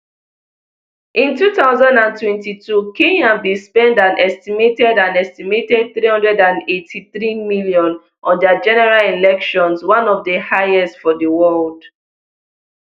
in two thousand and twenty-two kenya bin spend an estimated an estimated three hundred and eighty-threem on their general elections one of di highest for di world